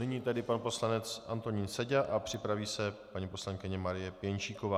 Nyní tedy pan poslanec Antonín Seďa a připraví se paní poslankyně Marie Pěnčíková.